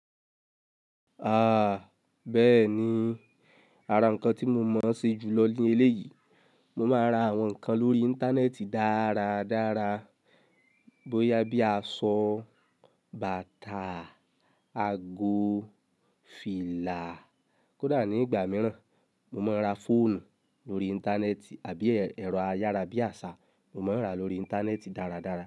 A, bẹ́ẹ̀ ni, ara ǹkan tí mo mọ̀ ṣe jù lọ ní eléyìí, mo máa ń ra àwọn nǹkan lórí Íńtánẹ́ẹ̀tì dáradára. Bóyá bí a sọ bàtà, ago, fìlà kódà ní ìgbà mìíràn, mo máa ń ra fóònù lórí Íńtánẹ́ẹ̀tì àbí ẹ̀rọ ayára bí àṣá, mo máa ń rà lórí Íńtánẹ́ẹ̀tì dáradára.